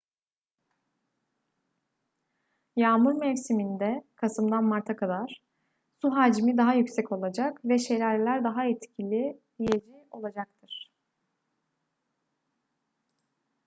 yağmur mevsiminde kasımdan marta kadar su hacmi daha yüksek olacak ve şelaleler daha etkileyici olacaktır